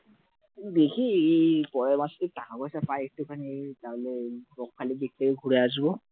দেখি এই পরের মাসে টাকা পয়সা পাই একটুখানি, তাহলে এই বকখালির দিক থেকে ঘুরে আসব